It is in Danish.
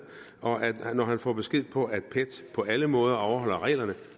og når han får besked på at pet på alle måder overholder reglerne